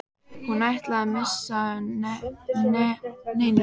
Hún ætlaði ekki að missa af neinu.